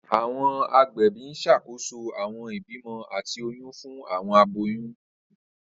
Awọn agbẹbi n ṣakoso awọn ibimọ ati oyun fun awọn aboyun.